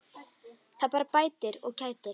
Það bara bætir og kætir.